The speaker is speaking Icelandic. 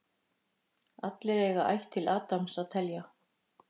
Allir eiga ætt til Adams að telja.